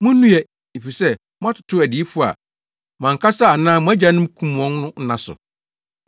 “Munnue! Efisɛ, moatoto adiyifo a mo ankasa anaa mo agyanom kum wɔn no nna so.